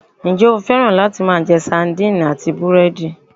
Njé o féràn láti máa je Sandine àti búrédì?